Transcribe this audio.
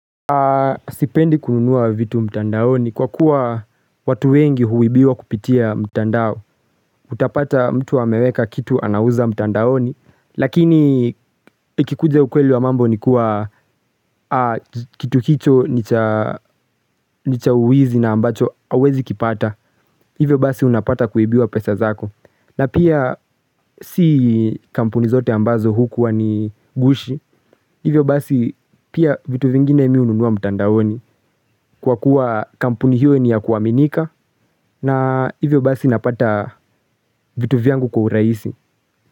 Sipendi kununua vitu mtandaoni kwa kuwa watu wengi huibiwa kupitia mtandao Utapata mtu wa ameweka kitu anauza mtandaoni Lakini ikikuja ukweli wa mambo ni kuwa kitu kicho ni cha uwizi na ambacho hauwezi kipata Hivyo basi unapata kuibiwa pesa zako na pia si kampuni zote ambazo hukuwa ni gushi Hivyo basi pia vitu vingine mimi hununua mtandaoni Kwa kuwa kampuni hiyo ni ya kuwaminika na hivyo basi napata vitu vyangu kwa urahisi.